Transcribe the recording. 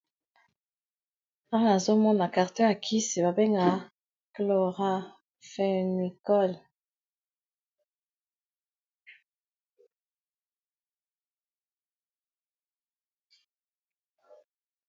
Awa na zomona carton ya kisi babenga chloraphenicol.